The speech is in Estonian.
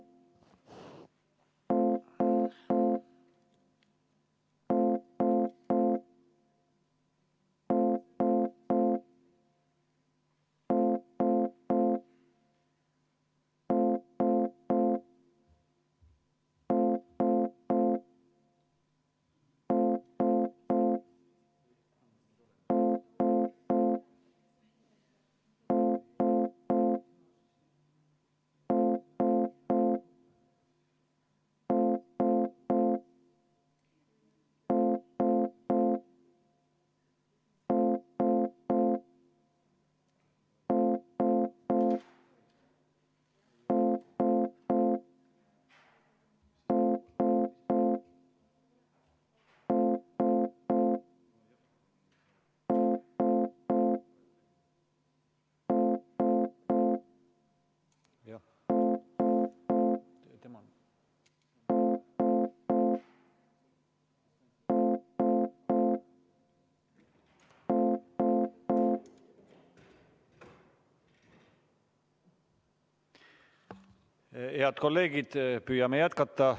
Head kolleegid, püüame jätkata.